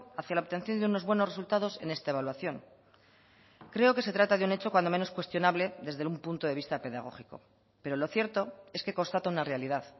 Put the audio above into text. hacia la obtención de unos buenos resultados en esta evaluación creo que se trata de un hecho cuando menos cuestionable desde un punto de vista pedagógico pero lo cierto es que constata una realidad